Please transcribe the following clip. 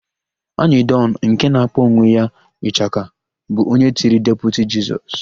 Anyịdọn, nke na-akpọ onwe ya onye ịchaka bụ onye tiri Deputi Jisọs.